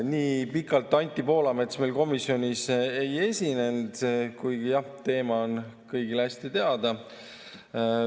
Nii pikalt Anti Poolamets meil komisjonis ei esinenud, kuigi jah, teema on kõigile hästi teada.